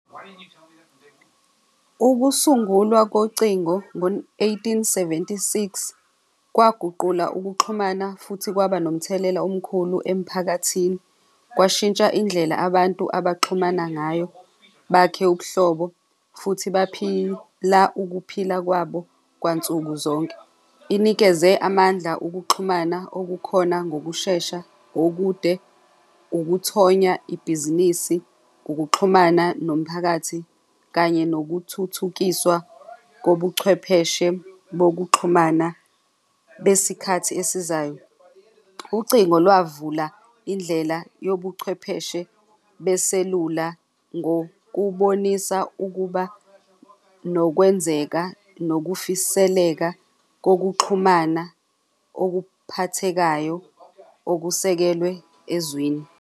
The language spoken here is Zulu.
Ukusungulwa kocingo ngo-eighteen seventy-six kwaguqula ukuxhumana futhi kwaba nomthelela omkhulu emphakathini, kwashintsha indlela abantu abaxhumana ngayo bakhe ubuhlobo futhi baphila ukuphila kwabo kwansuku zonke. Inikeze amandla okuxhumana okukhona ngokushesha okude ukuthonya ibhizinisi, ukuxhumana nomphakathi kanye nokuthuthukiswa kobuchwepheshe bokuxhumana besikhathi esizayo. Ucingo lwavula indlela yobuchwepheshe beselula ngokubonisa ukuba nokwenzeka nokufiseleka kokuxhumana okuphathekayo okusekelwe ezweni.